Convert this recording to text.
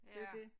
Det jo dét